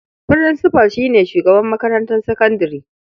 Furinsifal shi ne shugaban makarantar sakandare.